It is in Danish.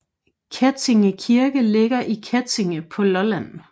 Kettinge Kirke ligger i Kettinge på Lolland